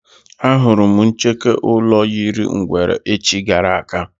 Á hụrụ m ncheke ụlọ yiri ngwere echi gara aga